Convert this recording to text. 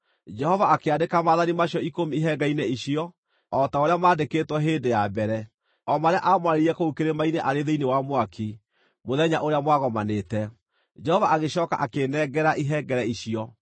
Jehova akĩandĩka Maathani macio Ikũmi ihengere-inĩ icio, o ta ũrĩa maandĩkĩtwo hĩndĩ ya mbere, o marĩa aamwarĩirie kũu kĩrĩma-inĩ arĩ thĩinĩ wa mwaki, mũthenya ũrĩa mwagomanĩte. Jehova agĩcooka akĩĩnengera ihengere icio.